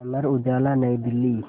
Amar Ujala Nai Delhi